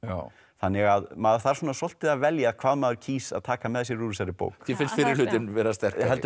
þannig að maður þarf svolítið að velja hvað maður kýs að taka með sér úr þessari bók þér finnst fyrri hlutinn sterkari heldur